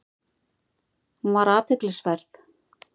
Hún var athyglisverð.